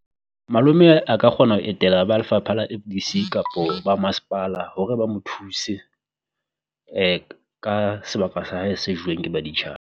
Malome a ka kgona ho etela ba lefapha la kapo ba masepala hore ba mo thuse ka sebaka sa hae se joweng ke